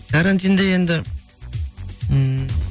карантинде енді ммм